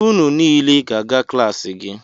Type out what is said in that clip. Unu niile ga-aga klaasị gị!